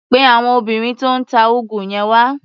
Pe àwọn obìnrin tó ń ta úgú yẹn wá.